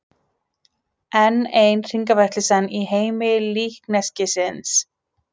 Enn ein hringavitleysan í heimi líkneskisins.